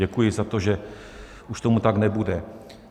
Děkuji za to, že už tomu tak nebude.